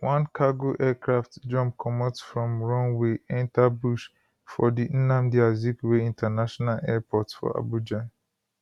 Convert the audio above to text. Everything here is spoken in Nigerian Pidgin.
one cargo aircraft jump comot from runway enta bush for di nnamdi azikiwe international airport for abuja